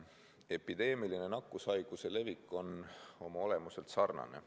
Epideemiline nakkushaiguse levik on oma olemuselt sarnane.